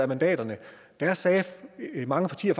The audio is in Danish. mandaterne da sagde mange partier